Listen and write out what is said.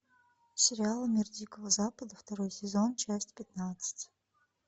сериал мир дикого запада второй сезон часть пятнадцать